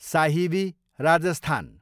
Sahibi, Rajasthan